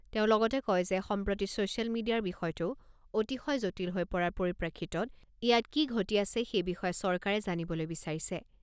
তেওঁ লগতে কয় যে সম্প্ৰতি ছ'চিয়েল মিডিয়াৰ বিষয়টো অতিশয় জটিল হৈ পৰাৰ পৰিপ্ৰেক্ষিতত ইয়াত কি ঘটি আছে সেই বিষয়ে চৰকাৰে জানিবলৈ বিচাৰিছে।